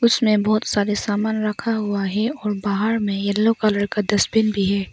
उसमें बहोत सारे सामान रखा हुआ है और बाहार में येलो कलर का डस्टबिन भी है।